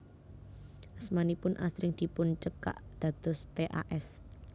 Asmanipun asring dipuncekak dados T A S